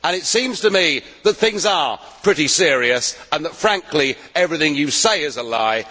It seems to me that things are pretty serious and that, frankly, everything you say is a lie.